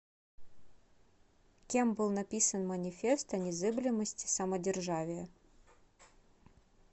кем был написан манифест о незыблемости самодержавия